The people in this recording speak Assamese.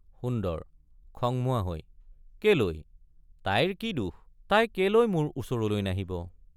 সুন্দৰ—খংমুৱা হৈ কেলৈ তাইৰ কি দোষ—তাই কেলৈ মোৰ ওচৰলৈ নাহিব?